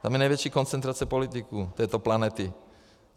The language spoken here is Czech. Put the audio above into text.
Tam je největší koncentrace politiků této planety.